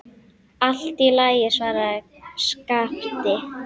Allt í lagi, svaraði Skapti.